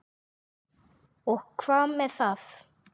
Og hvað með það?